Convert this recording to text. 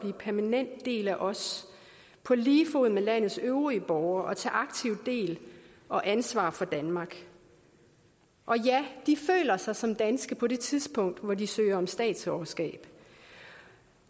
en permanent del af os på lige fod med landets øvrige borgere og tage aktivt del og ansvar for danmark og ja de føler sig som danske på det tidspunkt hvor de søger om statsborgerskab